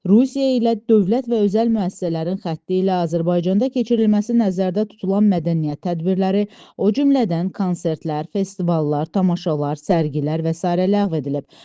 Rusiya ilə dövlət və özəl müəssisələrin xətti ilə Azərbaycanda keçirilməsi nəzərdə tutulan mədəniyyət tədbirləri, o cümlədən konsertlər, festivallar, tamaşalar, sərgilər və sairə ləğv edilib.